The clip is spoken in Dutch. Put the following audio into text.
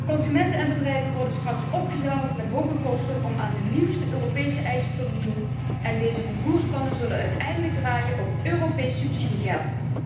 Consumenten en bedrijven worden straks opgezadeld met hoge kosten om aan de nieuwste Europese eisen te voldoen en deze vervoersplannen zullen uiteindelijk draaien op Europees subsidiegeld.